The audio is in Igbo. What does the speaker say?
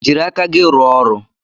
Jiri aka gị rụọ ọrụ!